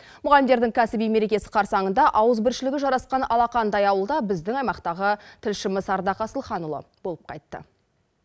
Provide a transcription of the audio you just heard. мұғалімдердің кәсіби мерекесі қарсаңында ауызбіршілігі жарасқан алақандай ауылда біздің аймақтағы тілшіміз ардақ асылханұлы болып қайтты